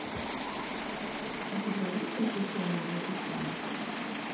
у тебя есть приключения джеки чана